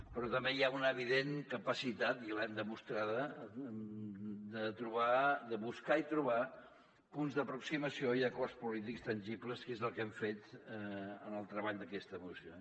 però també hi ha una evident capacitat i l’hem demostrada de buscar i trobar punts d’aproximació i acords polítics tangibles que és el que hem fet en el treball d’aquesta moció